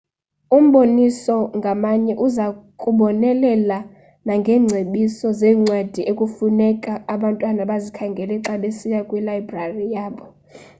umboniso ngamnye uza kubonelela nangeengcebiso zeencwadi ekufuneka abantwana bazikhangele xa besiya kwilayibrari yabo